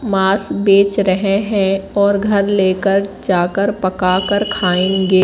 मास बेच रहे हैं और घर लेकर जाकर पका कर खाएंगे।